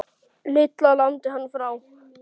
Lilla lamdi hann frá.